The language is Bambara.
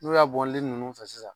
N'o y'a bɔn ninnu fɛ sisan.